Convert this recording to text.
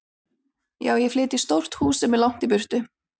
Já, ég flyt í stórt hús sem er langt í burtu.